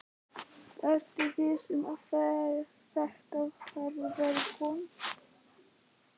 Ertu viss um að þetta hafi verið hún?